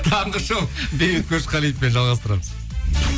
таңғы шоу бейбіт көшқалиевпен жалғастырамыз